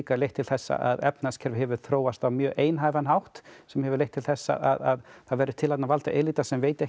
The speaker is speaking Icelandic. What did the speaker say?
leitt til þess að efnahagskerfið hefur þróast á mjög einhæfan hátt sem hefur leitt til þess að það verður til þarna valdaelíta sem veit ekki